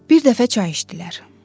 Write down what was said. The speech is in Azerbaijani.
Bir dəfə çay içdilər.